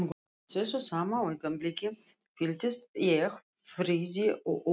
Á þessu sama augnabliki fylltist ég friði og öryggi.